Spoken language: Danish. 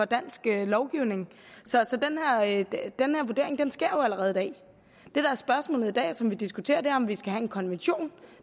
dansk lovgivning så den her vurdering sker allerede i dag det der er spørgsmålet og som vi diskuterer i dag er om vi skal have en kommission